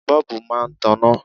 Bọ́ọ̀bù máa taná.